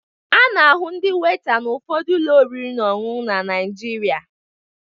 A na-ahụ ndị weta n'ụfọdụ ụlọ oriri na ọṅụṅụ na Naịjirịa